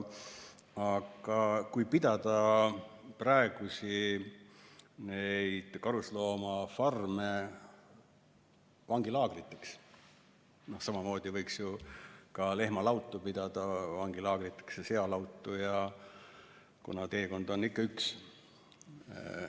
Kui pidada praegusi karusloomafarme vangilaagriteks, siis samamoodi võiks ju ka lehmalautu ja sealautu pidada vangilaagriteks, kuna teekond on ikka üks.